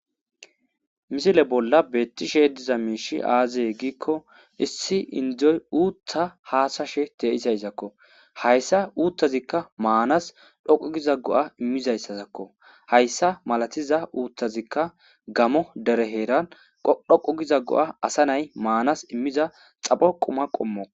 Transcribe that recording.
Misile bolla beettishe diza miishshii aazee giikko issi indoy uuththa haasashe de'izayssakko hayssa uuttazikka maanas dhoqqu giza go'a iimmizayssasakko hayssa malatiza uuththazikka gammo dere heeran dhoqqu giza go'a asa nay maanas iimmiza xapho quma qommokko